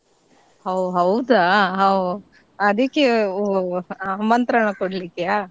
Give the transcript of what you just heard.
ಹೋ ಹೌದಾ ಹೋ ಆದಿಕ್ಕೆ ಓ ಆಮಂತ್ರಣ ಕೊಡ್ಲಿಕ್ಕೆಯಾ?